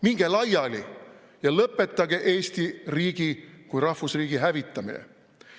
Minge laiali ja lõpetage Eesti riigi kui rahvusriigi hävitamine.